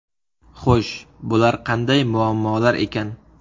Xo‘sh, bular qanday muammolar ekan?